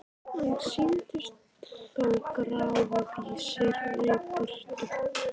En sýndust þó grá í vissri birtu.